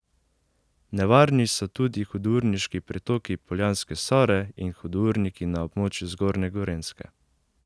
Nevarni so tudi hudourniški pritoki Poljanske Sore in hudourniki na območju zgornje Gorenjske.